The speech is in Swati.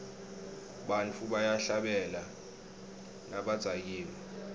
bantfu bayahlabela nabadzakiwe